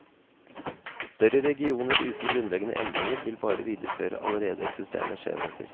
Større regioner uten grunnleggende endringer vil bare videreføre allerede eksisterende skjevheter.